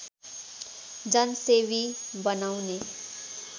जनसेवी बनाउने